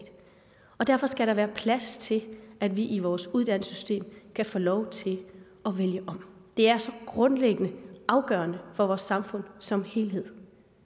og derfor skal der være plads til at vi i vores uddannelsesystem kan få lov til at vælge om det er så grundlæggende afgørende for vores samfund som helhed